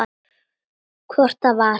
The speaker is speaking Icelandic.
Hvort það var!